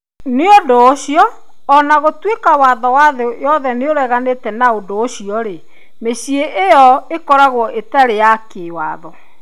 Nĩ ũndũ ũcio, o na gũtuĩka watho wa thĩ yothe nĩ ũreganĩte na ũndũ ũcio-rĩ, mĩciĩ ĩyo ĩkoragwo ĩtarĩ ya kĩwatho.